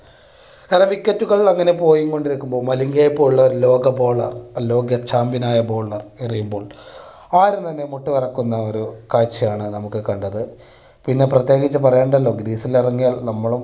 പല wicket കൾ അങ്ങനെ പോയി കൊണ്ടിരിക്കുമ്പോൾ മലിംഗയെ പോലുള്ള ലോക bowler ലോക champion ആയ bowler എറിയുമ്പോൾ ആരും തന്നെ മുട്ട് വിറക്കുന്ന ഒരു കാഴ്ചയാണ് നാമൊക്കെ കണ്ടത്. പിന്നെ പ്രത്യേകിച്ച് പറയേണ്ടല്ലോ greece ഇറങ്ങിയാൽ നമ്മളും